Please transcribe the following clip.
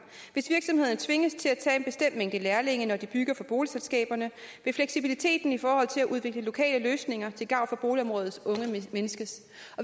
hvis virksomhederne tvinges til at tage lærlinge når de bygger for boligselskaberne vil fleksibiliteten ift at udvikle lokale løsninger til gavn for boligområdets unge mindskes